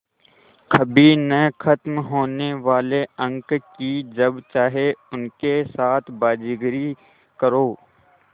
कभी न ख़त्म होने वाले अंक कि जब चाहे उनके साथ बाज़ीगरी करो